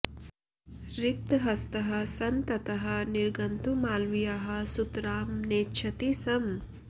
रिक्तहस्तः सन् ततः निर्गन्तुं मालवीयः सुतरां नेच्छति स्म